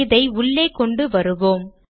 இதை உள்ளே கொண்டு வருவோம்